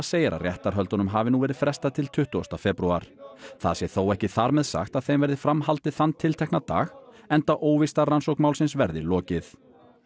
segir að réttarhöldunum hafi nú verið frestað til tuttugasta febrúar það sé þó ekki þar með sagt að þeim verði fram haldið þann tiltekna dag enda óvíst að rannsókn málsins verði lokið